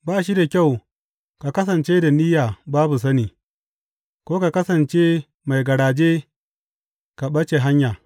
Ba shi da kyau ka kasance da niyya babu sani, ko ka kasance mai garaje ka ɓace hanya.